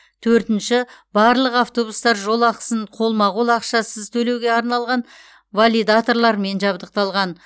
төртінші барлық автобустар жол ақысын қолма қол ақшасыз төлеуге арналған валидаторлармен жабдықталған